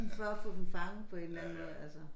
For at få dem fanget på en eller anden måde altså